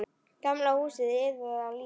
Gamla húsið iðaði af lífi.